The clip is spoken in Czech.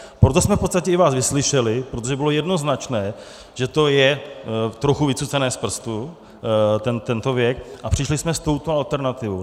Proto jsme v podstatě i vás vyslyšeli, protože bylo jednoznačné, že to je trochu vycucané z prstu, tento věk, a přišli jsme s touto alternativou.